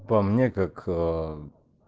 по мне как